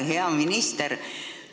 Hea minister!